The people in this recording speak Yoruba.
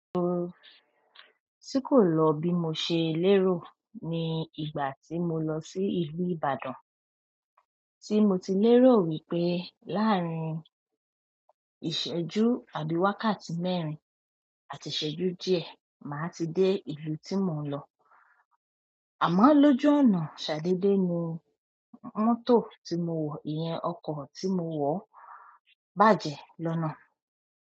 Ohun tí kò lọ bí mo ṣe lérò ní ìgbà tí mo lọ sí ìlú Ìbàdàn, tí mo ti lérò wípé láàárín ìṣẹ́jú àbí wákàtí mẹ́rin àti ìṣẹ́jú díẹ̀, màá ti dé ìlú tí mò ń lọ. Àmọ́ lójú ọ̀nà, ṣàdédè ni mọ́tò tí mo wọ̀, ìyẹn ọkọ̀ tí mo wọ̀ bàjẹ́ lọ́nà.